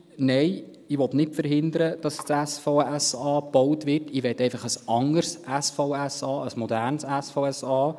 Nein, ich will nicht verhindern, dass das SVSA gebaut wird, ich möchte einfach ein anderes SVSA, ein modernes SVSA.